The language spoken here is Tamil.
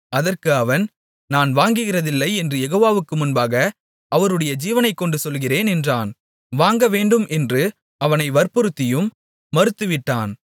அதற்கு அவன் நான் வாங்குகிறதில்லை என்று யெகோவாவுக்கு முன்பாக அவருடைய ஜீவனைக்கொண்டு சொல்லுகிறேன் என்றான் வாங்கவேண்டும் என்று அவனை வற்புறுத்தியும் மறுத்துவிட்டான்